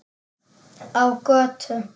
Á götu.